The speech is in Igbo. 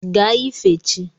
Gaa ife chi!